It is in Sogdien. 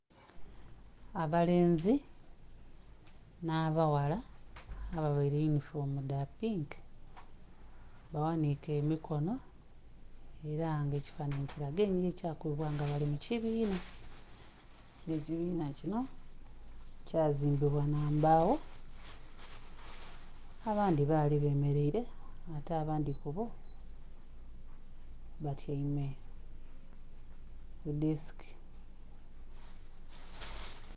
Abalenzi nha abaghala aba vaire yunifoomu dha pinka ba ghanike emikono era nga ekifananhi kilaga kya kubinga nga bali mu kibiina nga ekibiina kinho kya zimbibwa nga mbawo, abandhi bali be mereire ate abandhi kubbo batyaime ku desike.